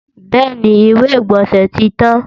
Bẹ́ẹ̀ni, ìwé-ìgbọ̀nsẹ̀ tí tán